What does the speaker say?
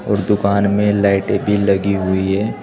और दुकान में लाइटें भी लगी हुई हैं।